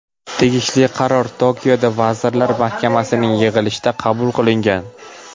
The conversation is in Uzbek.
Tegishli qaror Tokioda vazirlar mahkamasining yig‘ilishida qabul qilingan.